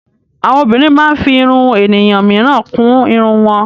Àwọn obìnrin máa ń fí ìrún ènìyàn míràn kún ìrún wọn.